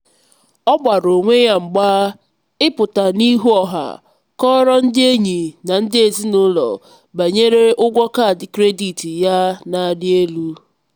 ọ gbara onwe ya mgba ịpụta n'ihu ọha kọọrọ ndị enyi na ndị ezinụlọ banyere ụgwọ kaadị kredit ya na-arị elu.